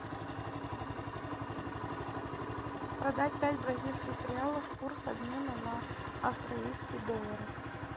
продать пять бразильских реалов курс обмена на австралийские доллары